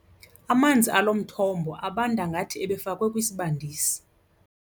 Amanzi alo mthombo abanda ngathi ebefakwe kwisibandisi.